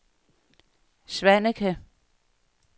Svaneke